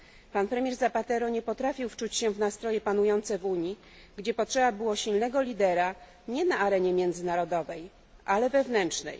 Pan premier Zapatero nie potrafił wczuć się w nastroje panujące w Unii, gdzie potrzeba było silnego lidera, nie na arenie międzynarodowej, ale wewnętrznej.